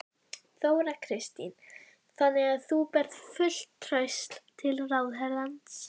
Barninu var fljótlega treyst til að umgangast þessar gersemar tilhlýðilega.